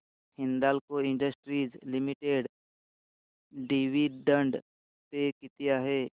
Hindalco industries limited dividend pay किती आहे